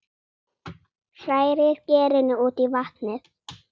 Hrærið gerinu út í vatnið.